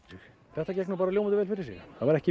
þetta gekk ljómandi vel fyrir sig það voru ekki